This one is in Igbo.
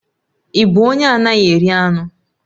Ị bụ onye anaghị eri anụ?